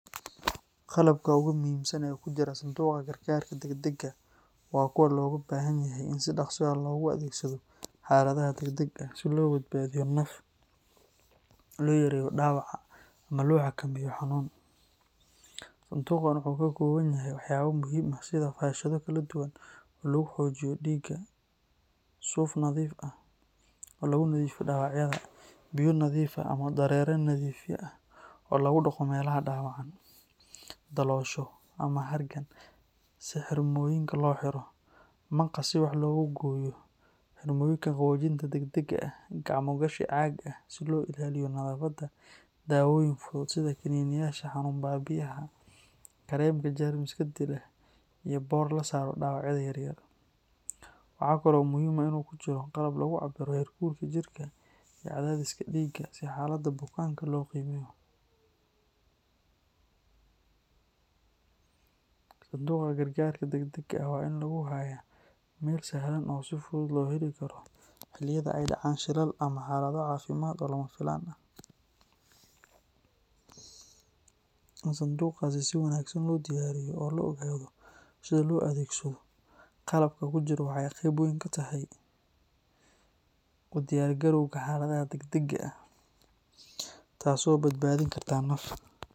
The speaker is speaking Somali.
Qalabka ugu muhiimsan ee ku jira sanduuqa gargaarka degdegga ah waa kuwa looga baahan yahay in si dhakhso ah loogu adeegsado xaaladaha degdegga ah si loo badbaadiyo naf, loo yareeyo dhaawaca, ama loo xakameeyo xanuun. Sanduuqan waxa uu ka kooban yahay waxyaabo muhiim ah sida faashado kala duwan oo lagu joojiyo dhiigga, suuf nadiif ah oo lagu nadiifiyo dhaawacyada, biyo nadiif ah ama dareere nadiifiye ah oo lagu dhaqo meelaha dhaawacan, daloosho ama harqaan si xirmooyinka loo xiro, maqas si wax loogu gooyo, xirmooyinka qaboojinta degdegga ah, gacmo gashi caag ah si loo ilaaliyo nadaafadda, daawooyin fudud sida kaniiniyaasha xanuun baabi'iyaha, kareemka jeermiska dila, iyo boor la saaro dhaawacyada yar yar. Waxa kale oo muhiim ah in uu ku jiro qalab lagu cabbiro heerkulka jirka iyo cadaadiska dhiigga si xaaladda bukaanka loo qiimeeyo. Sanduuqa gargaarka degdegga ah waa in lagu hayaa meel sahlan oo si fudud loo heli karo xilliyada ay dhacaan shilal ama xaalado caafimaad oo lama filaan ah. In sanduuqaasi si wanaagsan loo diyaariyo oo la ogaado sida loo adeegsado qalabka ku jira waxa ay qayb weyn ka tahay u diyaar garowga xaaladaha degdegga ah, taas oo badbaadin karta naf.